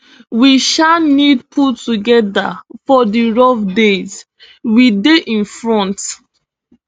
we um need pull togeda for di rough days we dey in front